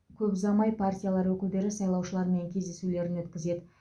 көп ұзамай партиялар өкілдері сайлаушылармен кездесулерін өткізеді